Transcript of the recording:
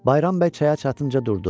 Bayram bəy çaya çatınca durdu.